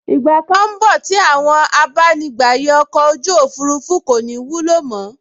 Ìgbà kan n bọ̀ tí àwọn abánigbàyè ọkọ̀ ojú òfurufú kò ní ní ìwúlò mọ́